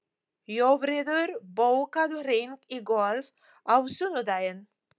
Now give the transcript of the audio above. Jófríður, bókaðu hring í golf á sunnudaginn.